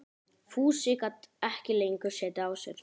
Fúsi gat ekki lengur setið á sér.